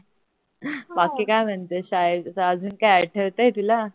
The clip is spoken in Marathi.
बाकी काय म्हणते शाळेच काय आठवतंय तुला